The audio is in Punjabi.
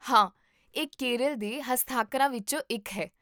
ਹਾਂ, ਇਹ ਕੇਰਲ ਦੇ ਹਸਤਾਖਰਾਂ ਵਿੱਚੋਂ ਇੱਕ ਹੈ